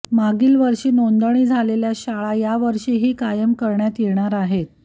मागील वर्षी नोंदणी झालेल्या शाळा यावर्षीही कायम करण्यात येणार आहेत